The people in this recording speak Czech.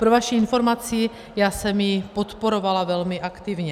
Pro vaši informaci, já jsem ji podporovala velmi aktivně.